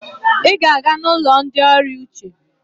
Ị ga-aga n'ụlọ ndị ọrịa uche!